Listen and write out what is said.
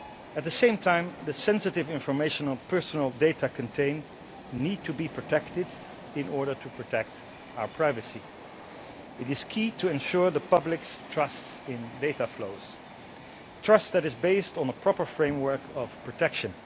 At the same time, the sensitive information that personal data contain needs to be protected in order to protect our privacy. It is key to ensure the public's trust in data flows trust that is based on a proper framework of protection.